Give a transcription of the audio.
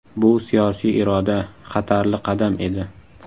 Bu siyosiy iroda, xatarli qadam edi.